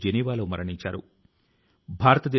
సుజలాం సుఫలాం మలయజ శీతలాం